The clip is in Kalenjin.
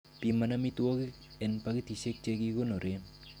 Piman amitwogik en pakitisiek che kikonoren.